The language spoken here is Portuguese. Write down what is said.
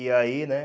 E aí, né?